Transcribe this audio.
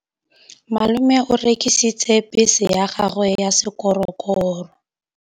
Malome o rekisitse bese ya gagwe ya sekgorokgoro.